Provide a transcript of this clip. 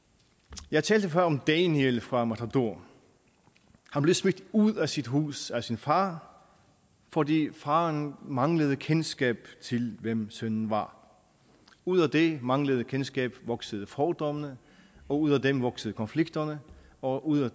jeg talte før om daniel fra matador han blev smidt ud af sit hus af sin far fordi faren manglede kendskab til hvem sønnen var ud af det manglende kendskab voksede fordommene og ud af dem voksede konflikterne og ud af